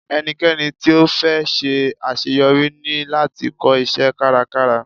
Ẹnikẹ́ni tí ó fẹ́ ṣe àṣeyọrí ní láti kọ́ iṣẹ́ kárakára.